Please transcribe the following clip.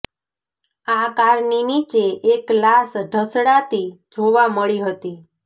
આ કારની નીચે એક લાશ ઢસડાતી જોવા મળી હતી